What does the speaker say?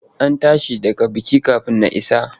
An tashi daga bikin kafin na isa.